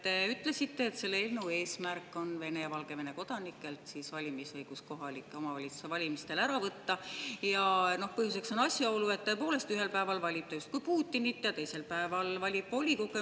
Te ütlesite, et selle eelnõu eesmärk on Vene ja Valgevene kodanikelt valimisõigus kohaliku omavalitsuse valimistel ära võtta, mille põhjuseks on asjaolu, et tõepoolest, ühel päeval valib ta Putinit ja teisel päeval valib volikogu.